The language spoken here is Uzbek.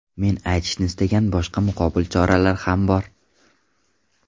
Men aytishni istagan boshqa muqobil choralar ham bor.